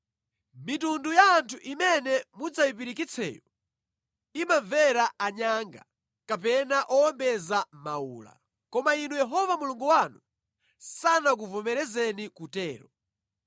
Mitundu ya anthu imene mudzayipirikitseyo imamvera anyanga kapena owombeza mawula. Koma inu Yehova Mulungu wanu sanakuvomerezeni kutero.